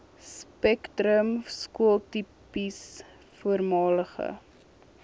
spektrum skooltipes voormalige